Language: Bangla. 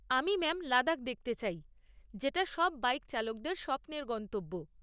আমি ম্যাম লাদাখ যেতে চাই, যেটা সব বাইক চালকদের স্বপ্নের গন্তব্য।